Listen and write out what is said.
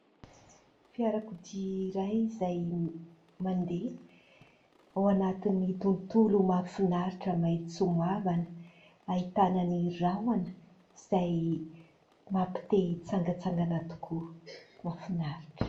Fiarakodia iray izay mandeha ao anaty tontolo mahafinaritra maitso mavana. Ahitana ny rahona izay mampite-hitsangatsangana tokoa. Mahafinaritra.